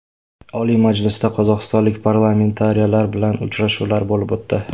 Oliy Majlisda qozog‘istonlik parlamentariylar bilan uchrashuvlar bo‘lib o‘tdi.